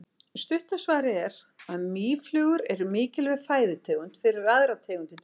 Stutta svarið er að mýflugur eru mikilvæg fæðutegund fyrir aðrar tegundir dýra.